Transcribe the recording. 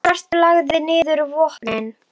og svartur lagði niður vopnin.